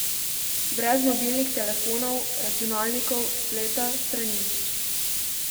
Brez mobilnih telefonov, računalnikov, spleta, stranišč.